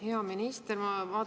Hea minister!